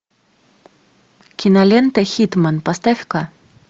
кинолента хитман поставь ка